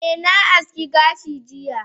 eh na aski gashi jiya